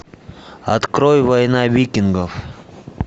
открой война викингов